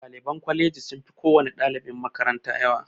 Ɗaliban kwalaji sun fi kowani ɗalibin makaranta yawa